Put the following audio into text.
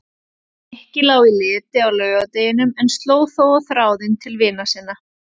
Nikki lá í leti á laugardeginum en sló þó á þráðinn til vina sinna.